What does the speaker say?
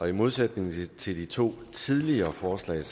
i modsætning til de to tidligere forslag